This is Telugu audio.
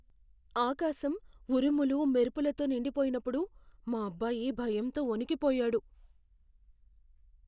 ఆకాశం ఉరుములు, మెరుపులతో నిండిపోయినప్పుడు మా అబ్బాయి భయంతో వణికిపోయాడు.